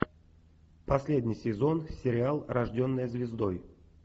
последний сезон сериал рожденная звездой